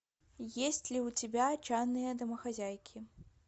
есть ли у тебя отчаянные домохозяйки